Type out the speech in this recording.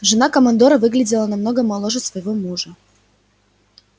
жена командора выглядела намного моложе своего мужа